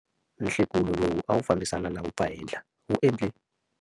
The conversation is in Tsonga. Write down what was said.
Nhlekulo lowu a wu fambisana na vumpfahenhla wu endle.